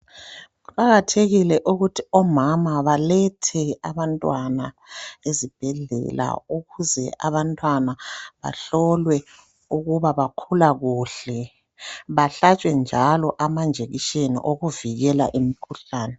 Kuqakathekile ukuthi omama balethe abantwana ezibhedlela ukuze abantwana bahlolwe ukuba bakhula kuhle bahlatshwe njalo amajekiseni okuvikela imikhuhlane.